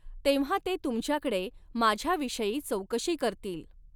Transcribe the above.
तेव्हा ते तुमच्याकडे माझ्याविषयी चौकशी करतील.